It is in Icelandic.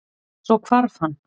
Svo hvarf hann.